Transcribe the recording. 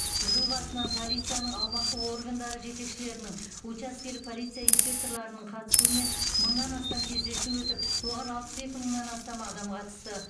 жыл басынан полицияның аумақтық органдары жетекшілерінің учаскелік полиция инспекторларының қатысуымен мыңнан астам кездесу өтіп оған алпыс екі мыңнан астам адам қатысты